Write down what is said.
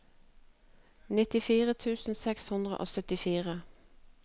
nittifire tusen seks hundre og syttifire